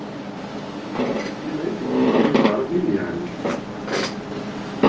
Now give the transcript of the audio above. Ég veit ekki hvað ég var að vilja henni.